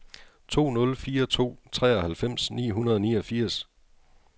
to nul fire to treoghalvfems ni hundrede og niogfirs